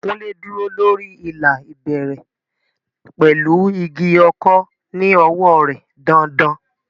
Kunle dúró lórí ìlà ìbẹ̀rẹ̀ pẹ̀lú igi ọ̀kọ̀ ní ọwọ́ rẹ̀ dain-dain.